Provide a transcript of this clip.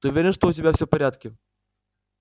ты уверен что у тебя всё в порядке